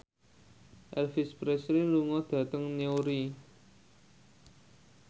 Elvis Presley lunga dhateng Newry